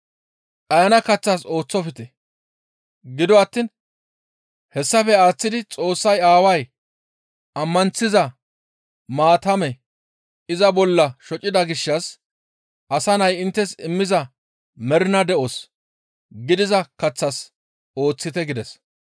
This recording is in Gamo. Dhayana kaththas ooththofte. Gido attiin hessafe aaththidi Xoossay aaway ammanththiza maatame iza bolla shocida gishshas Asa Nay inttes immiza mernaa de7os gidiza kaththas ooththite» gides.